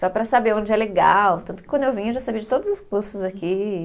Só para saber onde é legal, tanto que quando eu vim eu já sabia de todos os cursos aqui.